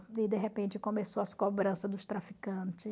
E, de repente, começou as cobrança dos traficante.